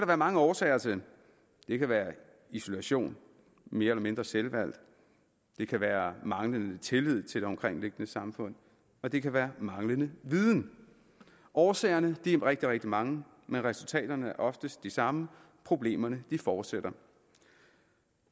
være mange årsager til det kan være isolation mere eller mindre selvvalgt det kan være manglende tillid til det omkringliggende samfund og det kan være manglende viden årsagerne er rigtig rigtig mange men resultaterne er oftest de samme problemerne fortsætter